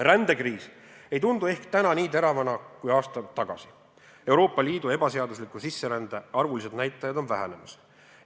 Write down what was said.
Rändekriis ei tundu täna ehk nii teravana kui aasta tagasi – Euroopa Liidu ebaseadusliku sisserände arvulised näitajad on vähenemas.